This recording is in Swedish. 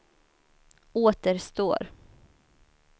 återstår